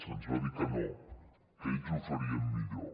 se’ns va dir que no que ells ho farien millor